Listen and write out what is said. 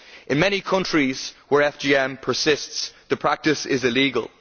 In many countries where FGM persists the practice is illegal.